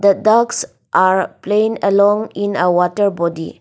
the ducks are playing along in a water body.